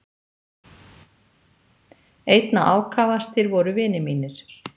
Einna ákafastir voru vinir mínir.